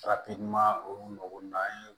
Farafinna olu mago n'an ye